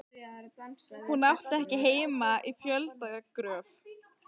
Hún átti ekki heima í fjöldagröf.